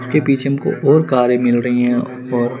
उसके पीछे हम को और कारे मिल रही है और--